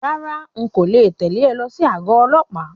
Rárá,n kò le tẹ̀lẹ́ ọ lọ sí àgọ ọlọ́pàá.